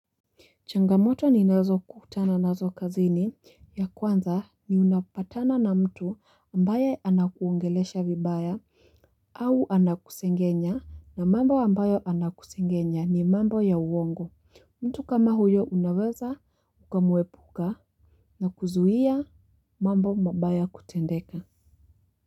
Changamoto ninazokutana nazo kazini ya kwanza ni unapatana na mtu ambaye anakuongelesha vibaya. Au anakusengenya na mambo ambayo anakusengenya ni mambo ya uongo. Mtu kama huyo unaweza ukamwepuka na kuzuia mambo mabaya kutendeka.